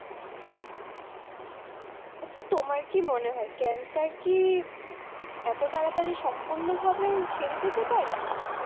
আচ্ছা তোমার কি মনে হয়ে cancer কি এতো তাড়াতড়ি সম্পূর্ণ ভাবে সেরে যেতে পারে?